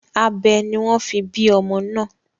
Abẹ ni wọ́n fi bí ọmọ náà.